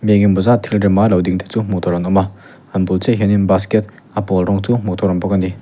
engemawh zat thil rema lo ding te chu hmuh an awm a a bul chiah ah hian in basket a pawl rawng chu hmuh tur a awm bawk a ni.